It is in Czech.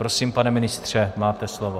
Prosím, pane ministře, máte slovo.